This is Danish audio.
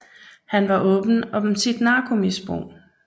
Han var åben om sit narkomisbrug